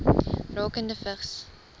rakende vigs